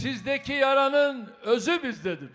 Sizdəki yaranın özü bizdədir.